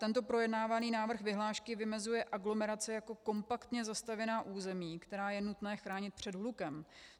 Tento projednávaný návrh vyhlášky vymezuje aglomerace jako kompaktně zastavěná území, která je nutné chránit před hlukem.